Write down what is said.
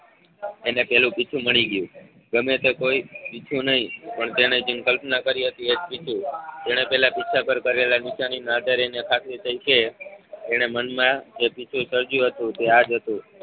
એને પેલું પીછું મળી ગયું ગમે તે કોઈ પીછું નઈ પણ તેને જે કલ્પના કરી હતી એ જ પીછું તેને પેલા પીંછા પર કરેલા નિશાની ના આધારે એની ખાતરી થઈ કે એને મનમાં એ પીછું સર્જ્યું હતું તે આ જ હતું.